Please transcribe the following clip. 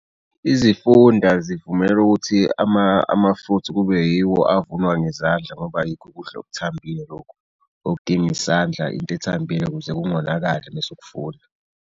Izifunda zivumele ukuthi ama-fruit-i kube yiwo avunwa ngezandla ngoba yikho ukudla okuthambile lokhu okudinga isandla into ethambile ukuze kungonakali mese ukufuna.